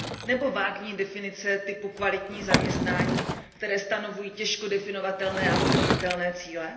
Nebo vágní definice typu kvalitní zaměstnání, které stanovují těžko definovatelné a hodnotitelné cíle?